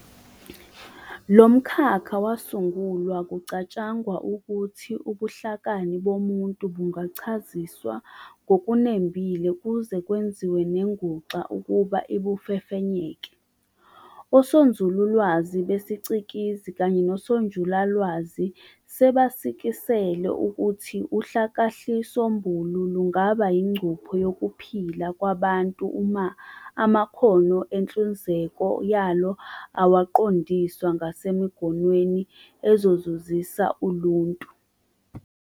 Lomkhakha wasungulwa kucatshangwa ukuthi ubuhlakani bomuntu "bungachaziswa ngokunembile kuze kwenziwe nenguxa ukuba ibufefenyeke". Osonzululwazi besicikizi kanye nosonjulalwazi sebasikisele ukuthi uhlakahlisombulu lungaba ingcupho yokuphila kwabantu uma amakhono enhluzeko yalo awaqondiswa ngasemigomweni ezozuzisa uluntu.